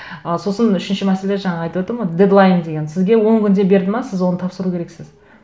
ы сосын үшінші мәселе жаңа айтып отырмын ғой дедлайн деген сізге он күнде берді ме сіз оны тапсыру керексіз